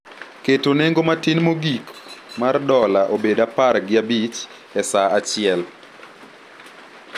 keto nengo matin mogik mar dola obed apar gi abich e saa achiel.